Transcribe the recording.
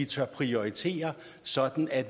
tør prioritere sådan at